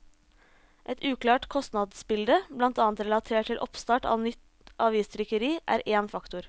Et uklart kostnadsbilde, blant annet relatert til oppstart av nytt avistrykkeri, er én faktor.